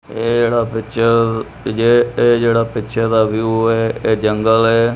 ਇਹ ਜਿਹੜਾ ਪਿਕਚਰ ਤੇ ਜਿਹ ਇਹ ਜਿਹੜਾ ਪਿਕਚਰ ਦਾ ਵਿਊ ਹੈ ਇਹ ਜੰਗਲ ਹੈ।